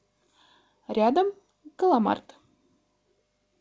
рядом галамарт